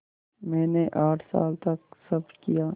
मैंने आठ साल तक सब किया